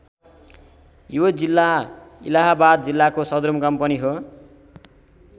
यो जिल्ला इलाहाबाद जिल्लाको सदरमुकाम पनि हो।